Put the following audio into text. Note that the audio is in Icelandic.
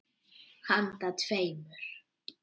Handa tveimur